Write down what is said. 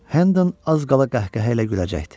Hendon az qala qəhqəhə ilə güləcəkdi.